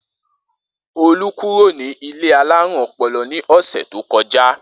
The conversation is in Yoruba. Olú kúrò nílé alárùn o̩po̩lo̩ ní ò̩sè̩ tó ko̩já